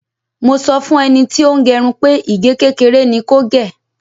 Mo sọ fún ẹni tí ó ń gẹrun pé ìgé kékeré ni kò gè.